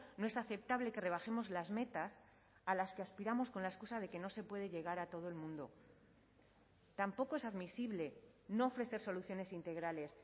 no es aceptable que rebajemos las metas a las que aspiramos con la excusa de que no se puede llegar a todo el mundo tampoco es admisible no ofrecer soluciones integrales